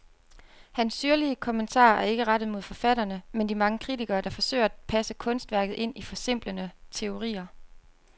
Hans syrlige kommentarer er ikke rettet mod forfatterne, men de mange kritikere, der forsøger at passe kunstværket ind i forsimplende teorier.